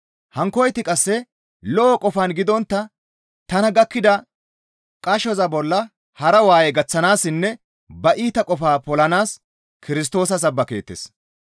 Hankkoyti qasse lo7o qofan gidontta tana gakkida qashoza bolla hara waaye gaththanaassinne ba iita qofaa polanaas Kirstoosa sabbakeettes.